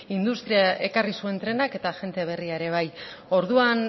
industria ekarri zuen trenak eta jende berria ere bai orduan